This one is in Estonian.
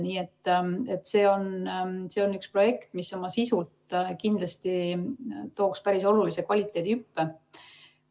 Nii et see on üks projekte, mis oma sisult kindlasti tooks päris olulise kvaliteedihüppe.